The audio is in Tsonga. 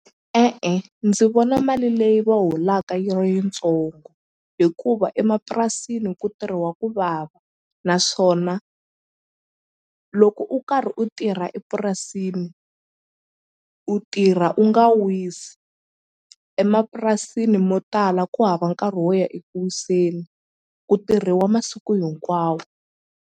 E-e ndzi vona mali leyi va holaka yi ri yitsongo hikuva emapurasini ku tirhiwa ku vava naswona loko u karhi u tirha epurasini u tirha u nga wisi emapurasini mo tala ku hava nkarhi wo ya eku wiseni ku tirhiwa masiku hinkwawo.